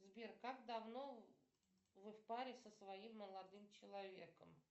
сбер как давно вы в паре со своим молодым человеком